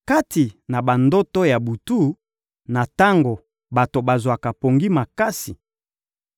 kati na bandoto ya butu, na tango bato bazwaka pongi makasi,